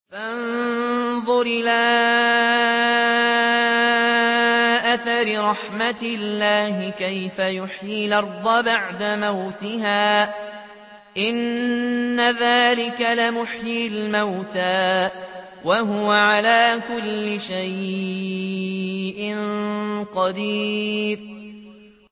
فَانظُرْ إِلَىٰ آثَارِ رَحْمَتِ اللَّهِ كَيْفَ يُحْيِي الْأَرْضَ بَعْدَ مَوْتِهَا ۚ إِنَّ ذَٰلِكَ لَمُحْيِي الْمَوْتَىٰ ۖ وَهُوَ عَلَىٰ كُلِّ شَيْءٍ قَدِيرٌ